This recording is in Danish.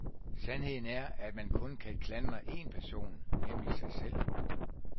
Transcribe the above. Sandheden er, at man kun kan klandre en person, nemlig sig selv.